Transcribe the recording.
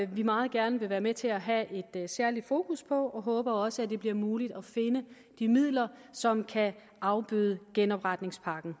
vi meget gerne vil være med til at have et særligt fokus på og vi håber også at det bliver muligt at finde de midler som kan afbøde genopretningspakkens